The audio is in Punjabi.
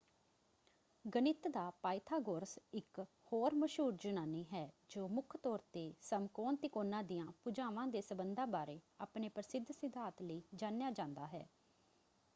ਗਣਿਤ ਦਾ ਪਾਇਥਾਗੋਰਸ ਇੱਕ ਹੋਰ ਮਸ਼ਹੂਰ ਯੂਨਾਨੀ ਹੈ ਜੋ ਮੁੱਖ ਤੌਰ ‘ਤੇ ਸਮਕੋਣ ਤਿਕੋਣਾਂ ਦੀਆਂ ਭੁਜਾਵਾਂ ਦੇ ਸਬੰਧਾਂ ਬਾਰੇ ਆਪਣੇ ਪ੍ਰਸਿੱਧ ਸਿਧਾਂਤ ਲਈ ਜਾਣਿਆ ਜਾਂਦਾ ਹੈ।